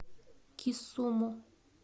кисуму